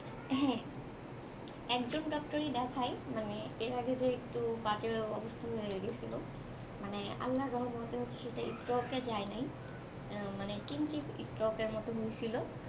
হম একজন doctor ই দেখায়, মানে এর আগে যে একটু বাজে অবস্থা হয়ে গেছিল মানে আল্লাহর রহমতে হচ্ছে সেটা stroke এ যায় নাই, মানে কিঞ্চিত stroke এর মত হয়েছিল,